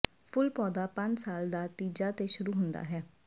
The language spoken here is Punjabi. ਫੁੱਲ ਪੌਦਾ ਪੰਜ ਸਾਲ ਦਾ ਤੀਜਾ ਤੇ ਸ਼ੁਰੂ ਹੁੰਦਾ ਹੈ